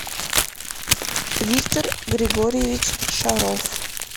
виктор григорьевич шаров